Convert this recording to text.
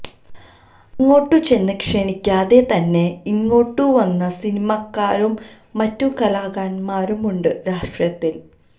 അങ്ങോട്ടു ചെന്നു ക്ഷണിക്കാതെ തന്നെ ഇങ്ങോട്ടു വന്ന സിനിമാക്കാരും മറ്റു കലാകാരന്മാരുമുണ്ട് രാഷ്ട്രീയത്തില്